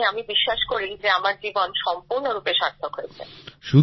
মানে আমি বিশ্বাস করি যে আমার জীবন সম্পূর্ণরূপে সার্থক হয়েছে